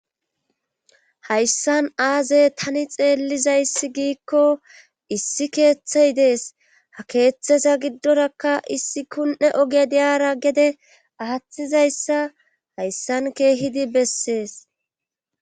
hayssan aaze tani xeellizayssi giikko issi keeththey dees ha keeththeza giddorakka issi kunne oge diyara gede aatizayssa hayssan keehidi bessees